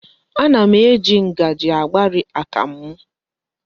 Ana m eji ngaji agbari akamụ m.